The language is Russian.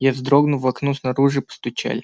я вздрогнул в окно снаружи постучали